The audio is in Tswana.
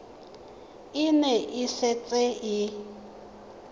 e ne e setse e